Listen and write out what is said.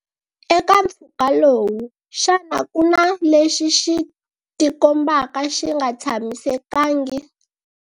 Eka mphfuka lowu, xana ku na lexi xi tikombaka xi nga tshamisekangi?